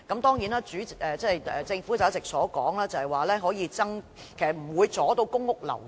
當然，按照政府一直以來的說法，這做法不會阻礙公屋流轉。